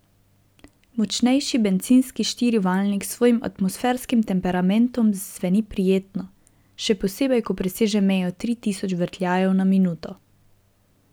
Močnejši bencinski štirivaljnik s svojim atmosferskim temperamentom zveni prijetno, še posebej ko preseže mejo tri tisoč vrtljajev na minuto.